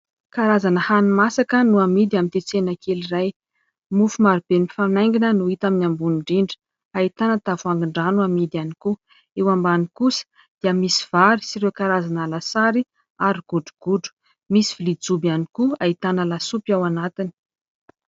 Karazana hani-masaka no amidy amin'ny ity tsena kely iray. Mofo marobe mifanaingina no hita amin'ny ambony indrindra, ahitana tavoahangin-drano amidy ihany koa, eo ambany kosa dia misy vary sy ireo karazana lasary ary godrogodro, misy vilia jobo ihany koa ahitana lasopy ao anatiny.